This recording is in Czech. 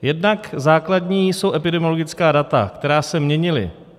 Jednak základní jsou epidemiologická data, která se měnila.